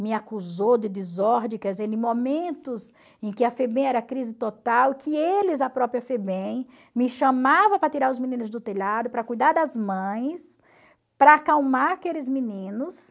Me acusou de desordem, quer dizer, em momentos em que a FEBEM era crise total, que eles, a própria FEBEM, me chamavam para tirar os meninos do telhado, para cuidar das mães, para acalmar aqueles meninos.